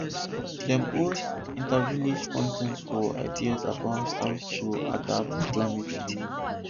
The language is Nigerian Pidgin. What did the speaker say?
dem host intervillage contest for ideas about how to adapt to climate change